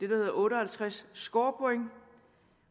hedder otte og halvtreds scorepoint